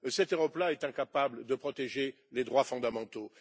Cette Europe là est incapable de protéger les droits fondamentaux.